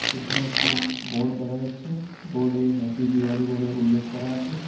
পেছনে একটি বোর্ড দেখা যাচ্ছে বোর্ড -এ হ্যাপি দিওয়ালি বলে উল্লেখ করা আছে।